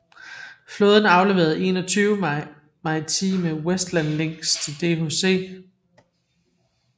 Flåden afleverede 21 maritime Westland Lynx til DHC